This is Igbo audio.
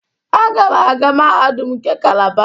Agam aga mahadum nke Calaba.